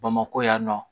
Bamakɔ yan nɔ